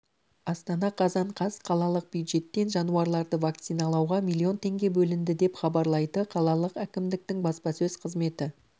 астана қазан қаз қалалық бюджеттен жануарларды вакциналауға миллион теңге бөлінді деп хабарлайды қалалық әкімдіктің баспасөз қызметі